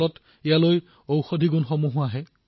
ফলত ইয়াত অনেক ঔষধী গুণো সমন্বিত হয়